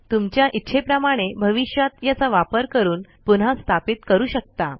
तुमच्या इच्छेप्रमाणे भविष्यात याचा वापर करून पुन्हा स्थापित करू शकता